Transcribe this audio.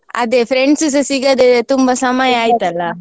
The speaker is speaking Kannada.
ಅದೇ friends ಸ ಸಿಗದೇ ತುಂಬಾ ಸಮಯ ಆಯ್ತಲ್ಲ.